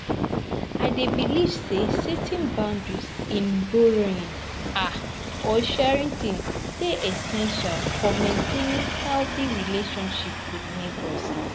I dey believe say setting boundaries in borrowing um or sharing items dey essential for maintaining healthy relationships with neighbors.